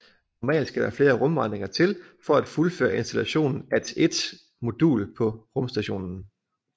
Normalt skal der flere rumvandringer til for at fuldføre installationen at et modul på rumstationen